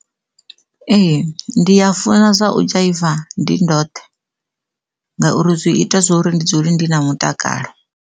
Ee ndi a funa zwa u dzhaiva ndi ndoṱhe ngauri zwi ita zwa uri ndi dzule ndi na mutakalo.